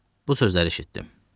Bu sözləri eşitdim.